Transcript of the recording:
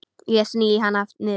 Ég sný hana niður.